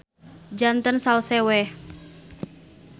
Janten salse we.